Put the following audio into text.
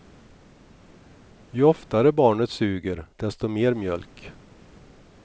Ju oftare barnet suger, desto mer mjölk.